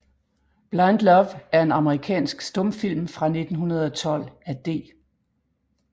Blind Love er en amerikansk stumfilm fra 1912 af D